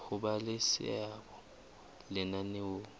ho ba le seabo lenaneong